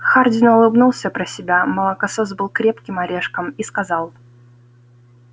хардин улыбнулся про себя молокосос был крепким орешком и сказал